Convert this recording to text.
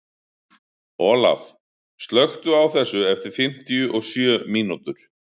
Olaf, slökktu á þessu eftir fimmtíu og sjö mínútur.